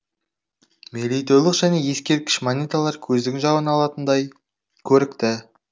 мерейтойлық және ескерткіш монеталар көздің жауын алатындай көрікті